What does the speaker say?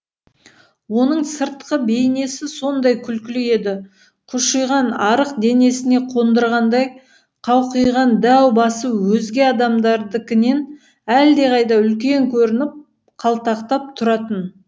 оның сыртқы бейнесі сондай күлкілі еді қушиған арық денесіне қондырғандай қауқиған дәу басы өзге адамдардыкінен әлдеқайда үлкен көрініп қалтақтап тұратын